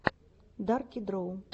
дарки дроу